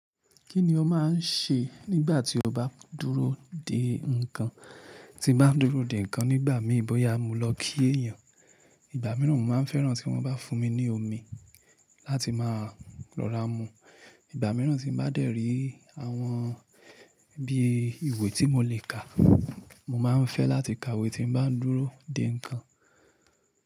Kí ni o máà n ṣe nígbà tí o bá dúró de ńnkan? Ti n bá n dúró de ńnkan nígbà mi, bóyá mo lọ kí èèyàn, ìgbà mìíràn mo maa n fẹ́ràn tí wọ́n bá fún mi ní omi láti máa rọra mu. Ìgbà mìíràn tí n bá dẹ̀rí àwọn bí i ìwé tí mo lè kà, mo máa n fẹ́ láti ka ìwé tí n bá n dúró de ńnkan.